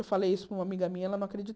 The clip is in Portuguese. Eu falei isso para uma amiga minha, ela não